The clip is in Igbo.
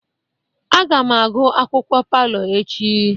Aga m agụ akwukwuo palọ echi.